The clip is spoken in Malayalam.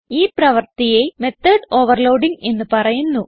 ഈ പ്രവർത്തിയെ മെത്തോട് ഓവർലോഡിങ് എന്ന് പറയുന്നു